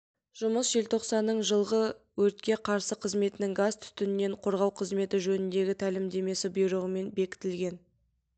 жұмыс желтоқсанның жылғы өртке қарсы қызметінің газ-түтіннен қорғау қызметі жөніндегі тәлімдемесі бұйрығымен бекітілген